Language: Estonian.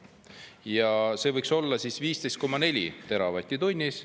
Ja see võiks olla 15,4 teravatti tunnis.